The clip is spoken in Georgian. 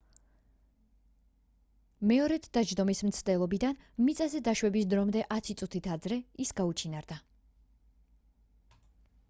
მეორედ დაჯდომის მცდელობიდან მიწაზე დაშვების დრომდე ათი წუთით ადრე ის გაუჩინარდა